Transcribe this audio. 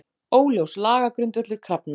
Óljós lagagrundvöllur krafna